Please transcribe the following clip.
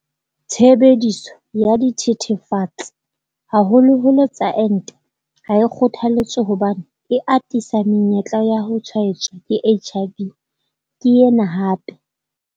Tshebediso ya dithethefatsi, haholoholo tsa ente ha e kgothaletswe hobane e atisa menyetla ya ho tshwaetswa ke HIV, ke yena hape.